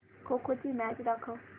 खो खो ची मॅच दाखव